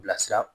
Bilasira